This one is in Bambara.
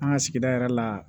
An ka sigida yɛrɛ la